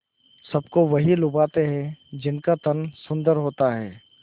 सबको वही लुभाते हैं जिनका तन सुंदर होता है